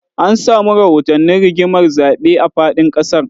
An samu rahotannin rigimar zaɓe a faɗin ƙasar